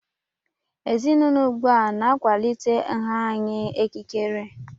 Ezinaụlọ ugbu a na-akwalite nha anya ikikere.